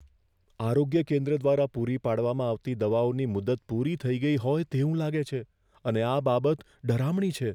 આરોગ્ય કેન્દ્ર દ્વારા પૂરી પાડવામાં આવતી દવાઓની મુદત પૂરી થઈ ગઈ હોય તેવું લાગે છે અને આ બાબત ડરામણી છે.